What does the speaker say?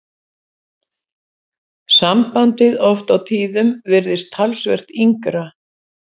Sambandið oft á tíðum virðist talsvert yngra.